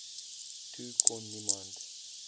toe kon niemand